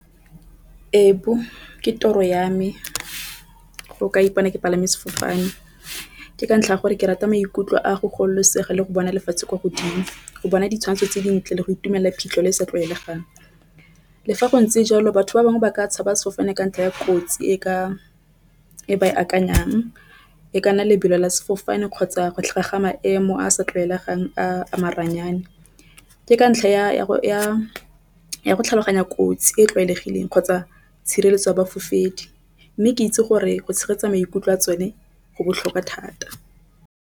Ke toro ya me go ka ipona ke palame sefofane ke ka ntlha ya gore ke rata maikutlo a go gololosega le go bona lefatshe kwa godimo. Go bona ditshwantsho tse dintle le go itumela phitlhele sa tlwaelegang. Le fa go ntse jalo batho ba bangwe ba ka tshaba sefofane ka ntlha ya kotsi e ka e ba e akanyang e kana lebelo la sefofane kgotsa go tlhoka ga maemo a a sa tlwaelegang a maranyane. Ke ka ntlha ya go tlhaloganya kotsi e tlwaelegileng kgotsa tshireletso ya bafofedi mme ke itse gore go tshegetsa maikutlo a tsone go botlhokwa thata.